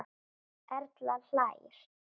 Erla hlær.